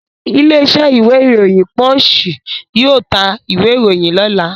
Ilé-iṣẹ́ ìwé-ìròyìn Punch yóò ta ìwé-ìròyìn lọ́la.